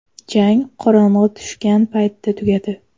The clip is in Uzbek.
Jang qorong‘i tushgan paytda tugadi.